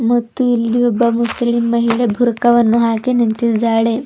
ಮತ್ತು ಇಲ್ಲಿ ಒಬ್ಬ ಮುಸ್ಲಿಮ್ ಮಹಿಳೆ ಬುರ್ಕಾವನ್ನು ಹಾಕಿ ನಿಂತಿದ್ದಾಳೆ.